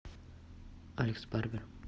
алекс барбер